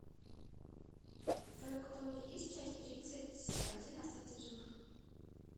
в твоем каталоге есть часть тридцать один остаться в живых